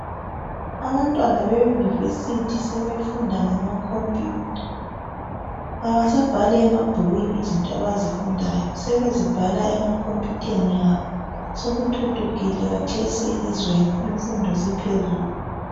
Abantwana beyunivesithi sebefunda ngama compuyutha. Abasabhali emabhukwini izinto abazifundayo sebezibhala emakhompuyutheni abo. Sokuthuthukile khathesi elizweni, imfundo siphezulu.